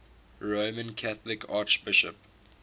roman catholic archbishops